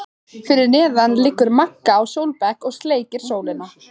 Fyrir neðan liggur Magga á sólbekk og sleikir sólina.